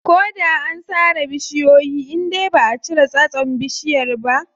Ko da an sare bishiyoyi indai baʼa cire tsatson bishiyar ba.